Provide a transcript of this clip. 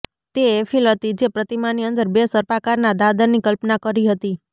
તે એફીલ હતી જે પ્રતિમાની અંદર બે સર્પાકારના દાદરની કલ્પના કરી હતી